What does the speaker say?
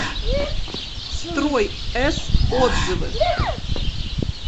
строй с отзывы